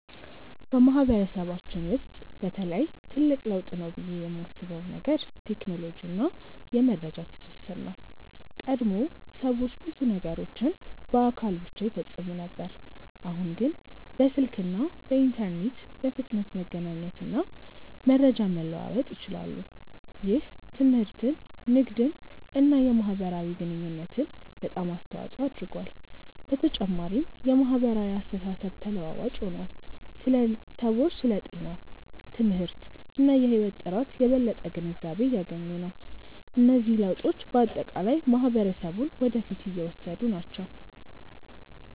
በማህበረሰባችን ውስጥ በተለይ ትልቅ ለውጥ ነው ብዬ የማስበው ነገር ቴክኖሎጂ እና የመረጃ ትስስር ነው። ቀድሞ ሰዎች ብዙ ነገሮችን በአካል ብቻ ይፈጽሙ ነበር፣ አሁን ግን በስልክ እና በኢንተርኔት በፍጥነት መገናኘት እና መረጃ መለዋወጥ ይችላሉ። ይህ ትምህርትን፣ ንግድን እና የማህበራዊ ግንኙነትን በጣም አስተዋፅኦ አድርጓል። በተጨማሪም የማህበራዊ አስተሳሰብ ተለዋዋጭ ሆኗል፤ ሰዎች ስለ ጤና፣ ትምህርት እና የህይወት ጥራት የበለጠ ግንዛቤ እያገኙ ናቸው። እነዚህ ለውጦች በአጠቃላይ ማህበረሰቡን ወደ ፊት እየወሰዱ ናቸው።